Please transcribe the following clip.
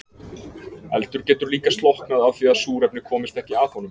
Eldur getur líka slokknað af því að súrefni komist ekki að honum.